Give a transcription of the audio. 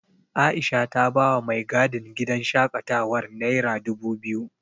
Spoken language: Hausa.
Aisha ta bawa mai gadin gidan shaƙatawar nera dubu biyu.